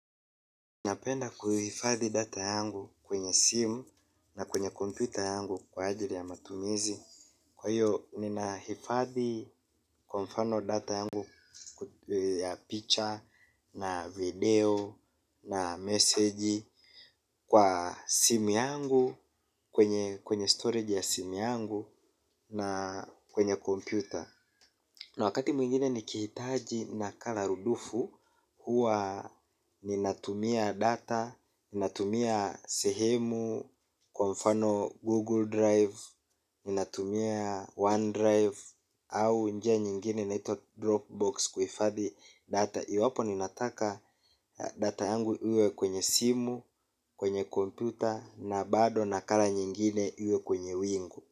Napenda kuhifadhi data yangu kwenye simu na kwenye kompyuta yangu kwa ajili ya matumizi. Kwa hiyo, ninahifadhi kwa mfano data yangu ya picture na video na message kwa simu yangu kwenye storage ya simu yangu na kwenye kompyuta. Na wakati mwingine nikihitaji nakala rudufu huwa ninatumia data, ninatumia sehemu, kwa mfano Google Drive, ninatumia OneDrive au njia nyingine inaitwa Dropbox kuhifadhi data. Iwapo ni nataka data yangu iwe kwenye simu, kwenye komputa na bado nakala nyingine iwe kwenye wingu.